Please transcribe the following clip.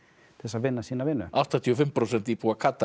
til þess að vinna sína vinnu áttatíu og fimm prósent íbúa Katar